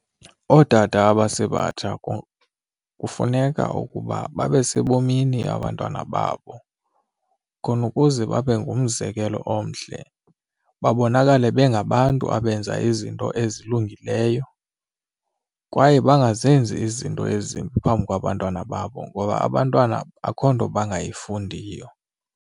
Ootata abasebatsha kufuneka ukuba babe sebomini abantwana babo khona ukuze babe ngumzekelo omhle babonakale bengabantu abenza izinto ezilungileyo kwaye bangazenzi izinto ezimbi phambi kwabantwana babo ngoba abantwana akho nto bangayifundiyo.